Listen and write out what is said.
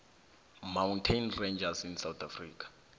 mountains ranges in africa